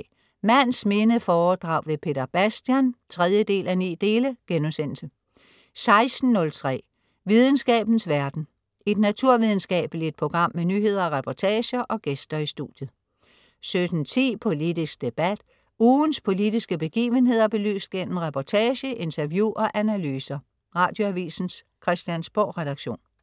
15.03 Mands minde foredrag med Peter Bastian 3:9* 16.03 Videnskabens verden. Et naturvidenskabeligt program med nyheder, reportager og gæster i studiet 17.10 Politisk debat. Ugens politiske begivenheder belyst gennem reportage, interview og analyser. Radioavisens Christiansborgredaktion